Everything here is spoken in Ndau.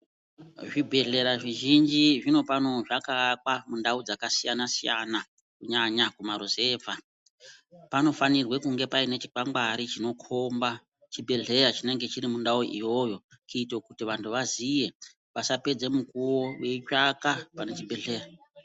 Zvibhedhlera zvizhinji zvinofano zvakaakwa mundau dzakasiyana siyana kunyanya mumaruzevha panofanirwe kunge paine chikwangwari chinokombe chibhedhlera chinenge chiri mundau iyoyo kuitokuti vanthu vaziye vasapedze mukuwo vetsvaka pane chibhedhleya.